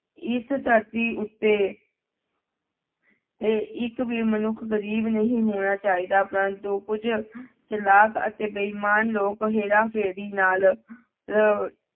ਇਸ ਧਰਤੀ ਉੱਤੇ ਤੇ ਇੱਕ ਵੀ ਮਨੁੱਖ ਗ਼ਰੀਬ ਨਹੀਂ ਹੋਣਾ ਚਾਹੀਦਾ ਪ੍ਰੰਤੂ ਕੁੱਝ ਚਲਾਕ ਅਤੇ ਬੇਈਮਾਨ ਲੋਕ ਹੇਰਾ ਫੇਰੀ ਨਾਲ ਲ